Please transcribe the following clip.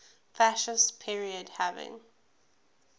fascist period having